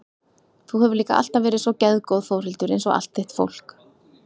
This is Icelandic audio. Þú hefur líka alltaf verið svo geðgóð Þórhildur einsog allt þitt fólk.